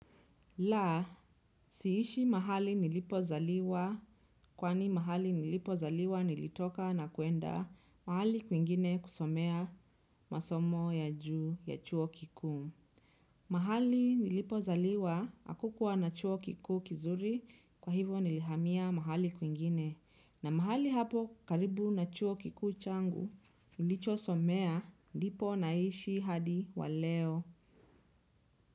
La, siishi mahali nilipo zaliwa kwani mahali nilipo zaliwa nilitoka na kuenda mahali kwingine kusomea masomo ya juu ya chuo kikuu. Mahali nilipo zaliwa hakukuwa na chuo kikuu kizuri kwa hivyo nilihamia mahali kwingine. Na mahali hapo karibu na chuo kikuu changu, nilicho somea ndipo naishi hadi wa leo.